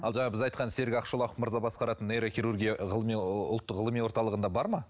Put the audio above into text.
ал жаңағы біз айтқан серік ақшолақов мырза басқаратын нейрохирургия ғылыми ұлттық ғылыми орталығында бар ма